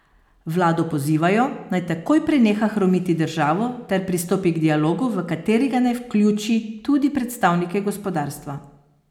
Vlado pozivajo, naj takoj preneha hromiti državo ter pristopi k dialogu, v katerega naj vključi tudi predstavnike gospodarstva.